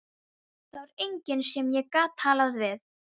Það var enginn sem ég gat talað við.